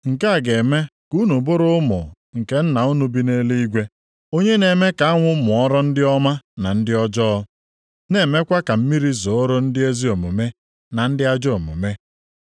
Nke a ga-eme ka unu bụrụ ụmụ nke Nna unu bi nʼeluigwe, onye na-eme ka anwụ mụọrọ ndị ọma na ndị ọjọọ, na-emekwa ka mmiri zooro ndị ezi omume na ndị ajọ omume.